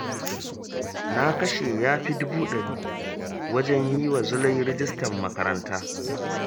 Na kashe ya fi dubu ɗari wajen yi wa Zulai rajistar makaranta